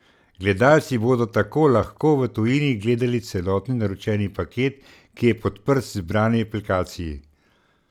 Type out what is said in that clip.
Gledalci bodo tako lahko v tujini gledali celotni naročeni paket, ki je podprt v izbrani aplikaciji.